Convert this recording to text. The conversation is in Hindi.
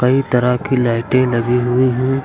कई तरह की लाइटें लगी हुई हैं।